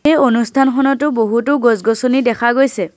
এই অনুষ্ঠান খনতো বহুতো গছ-গছনি দেখা গৈছে।